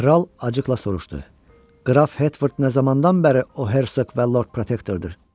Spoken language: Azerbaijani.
Kral acıqla soruşdu: Qraf Hertford nə zamandan bəri o Hersoq və Lord Protektordur?